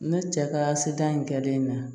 Ne cɛ ka sidan in kɛ den na